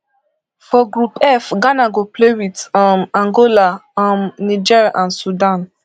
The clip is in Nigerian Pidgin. for group f ghana go play wit um angola um niger and sudan